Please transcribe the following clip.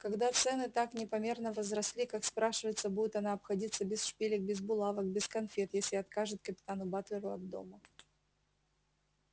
когда цены так непомерно возросли как спрашивается будет она обходиться без шпилек без булавок без конфет если откажет капитану батлеру от дома